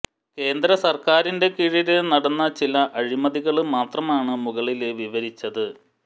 കേന്ദ്രസര്ക്കാരിന്റെ കീഴില് നടന്ന ചില അഴിമതികള് മാത്രമാണ് മുകളില് വിവരിച്ചത്